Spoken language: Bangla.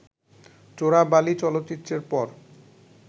চোরাবালি চলচ্চিত্রের পর